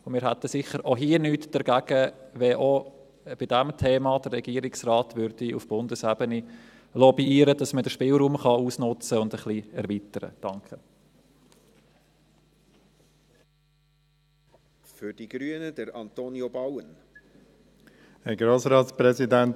Wir hätten sicher auch hier nichts dagegen, wenn der Regierungsrat auch bei diesem Thema auf Bundesebene lobbyieren würde, damit man den Spielraum ausnützen und ein bisschen erweitern kann.